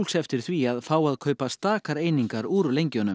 eftir því að fá að kaupa stakar einingar úr